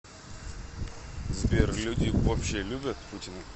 сбер люди вообще любят путина